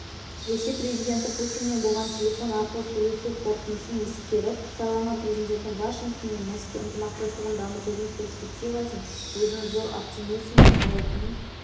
ресей президенті путинмен болған телефон арқылы сөйлесу қорытындысын ескеріп сайланған президенті вашингтон мен мәскеу ынтымақтастығын дамытудың перспективасына өзінің зор оптимизммен қарайтынын